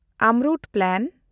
AMRUT plan